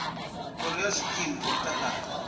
khoro ya zwikimu zwa mutakalo